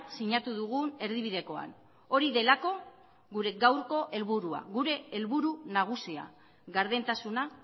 sinatu dugun erdibidekoan hori delako gure gaurko helburua gure helburu nagusia gardentasuna